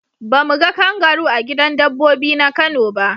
Ba mu ga kangaru a gidan dabbobi na kano ba.